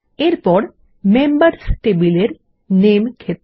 এরপর মেম্বার্স টেবিলের নামে ক্ষেত্র